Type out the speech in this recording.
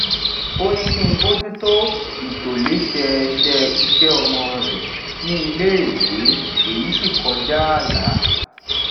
ó ní kí n bójútó ìtòlésẹẹsẹ iṣẹ ọmọ rẹ ní iléèwé èyí sì kọjá ààlà